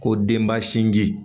Ko denba sinji